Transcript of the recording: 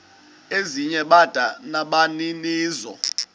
ezinye bada nabaninizo